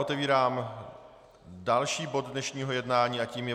Otevírám další bod dnešního jednání a tím je